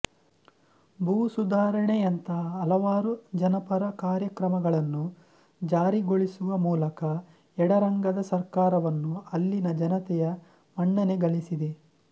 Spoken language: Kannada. ಭೂಸುಧಾರಣೆ ಯಂತಹ ಹಲವಾರು ಜನಪರ ಕಾರ್ಯಕ್ರಮಗಳನ್ನು ಜಾರಿಗೊಳಿಸುವ ಮೂಲಕ ಎಡರಂಗದ ಸರ್ಕಾರವನ್ನು ಅಲ್ಲಿನ ಜನತೆಯ ಮನ್ನಣೆ ಗಳಿಸಿದೆ